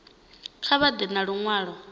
kha vha ḓe na luṅwalo